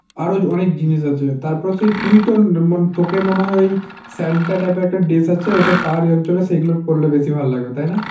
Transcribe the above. আরো অনেক জিনিস আছে। তারপর তুই তো মন~ তোকে মনে হয় ওই সান্টা type এর একটা dress আছে ওদের পাহাড়ী অঞ্চলে সেগুলো পড়লে বেশি ভাল লাগবে তাই না?